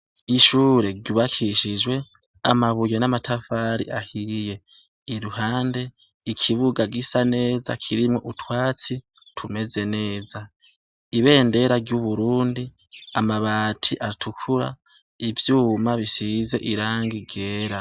Ishure ryubakishijwe amabuyo n'amatafari ahiriye iruhande ikibuga gisa neza kirimwo utwatsi tumeze neza ibendera ry'uburundi amabati atukura ivyuma bisize iranga igera.